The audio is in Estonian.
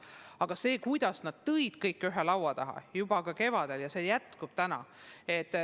Aga jah, kõik toodi ühe laua taha juba kevadel ja see töö praegu jätkub.